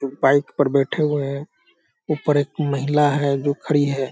एक बाइक पर बैठे हुए हैं ऊपर एक महिला है जो खड़ी है।